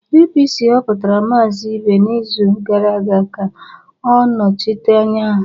APC họpụtara Maazị Ibe n'izu gara aga ka ọ nọchite anya ha.